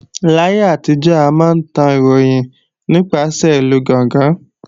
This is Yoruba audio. Láyé àtijọ́, a máa ń tan ìròyìn nípasẹ̀ ìlú gángan